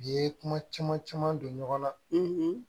U ye kuma caman caman caman don ɲɔgɔn na